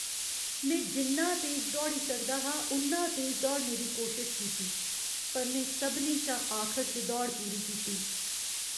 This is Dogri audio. में जिन्ना तेज दौड़ी सकदा हा उन्ना तेज दौड़ने दी कोशश कीती पर में सभनें शा आखर च दौड़ पूरी कीती ।